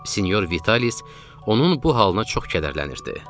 Sinyor Vitalis onun bu halına çox kədərlənirdi.